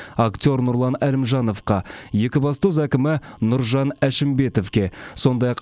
актер нұрлан әлімжановқа екібастұз әкімі нұржан әшімбетовке сондай ақ